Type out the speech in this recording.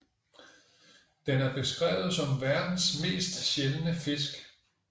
Den er beskrevet som verdens mest sjældne fisk